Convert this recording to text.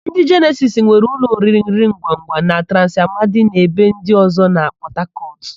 Ndị Jenesis nwere ụlọ oriringwangwa na Transi Amadi na ebe ndị ọ̀zọ́ na Pọtakọtụ.